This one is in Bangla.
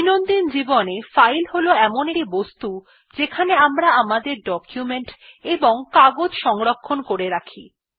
দৈনন্দিন জীবনে ফাইল হল এমন একটি বস্তু যেখানে আমরা আমাদের ডকুমেন্ট এবং কাগজ সংরক্ষণ করে রাখি